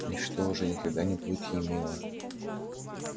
ничто уже никогда не будет ей мило